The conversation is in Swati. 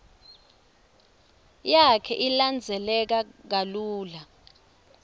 yakhe ilandzeleka kalula